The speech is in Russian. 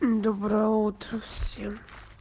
доброе утро всем